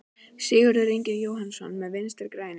Sigurður Ingi Jóhannsson: Með Vinstri-grænum?